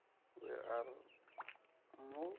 we a ri u mu